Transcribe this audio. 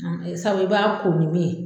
Sabu i b'a ko ni min ye